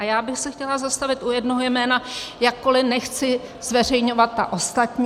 A já bych se chtěla zastavit u jednoho jména, jakkoli nechci zveřejňovat ta ostatní.